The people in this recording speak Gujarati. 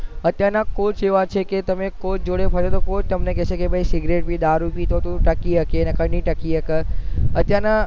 અત્યાર ના કોચ એવા છે કે તમે કોચ જોડે ફરસો કે કોચ તમે કેસે કેસિગરેટ પી દારૂ પી તો તુજ ટકી શકે ન કે નહીં ટકી શકે